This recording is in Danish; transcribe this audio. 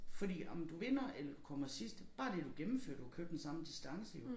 Fordi om du vinder eller du kommer sidst bare det du gennemfører du har kørt den samme distance jo